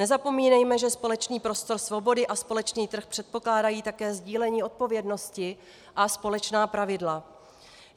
Nezapomínejme, že společný prostor svobody a společný trh předpokládají také sdílení odpovědnosti a společná pravidla.